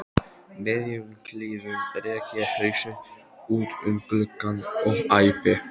miðjum klíðum rek ég hausinn út um gluggann og æpi